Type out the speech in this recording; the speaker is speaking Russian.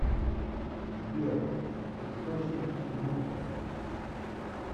сбер источники нюкта